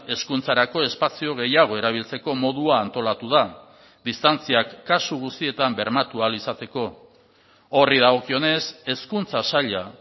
hezkuntzarako espazio gehiago erabiltzeko modua antolatu da distantziak kasu guztietan bermatu ahal izateko horri dagokionez hezkuntza saila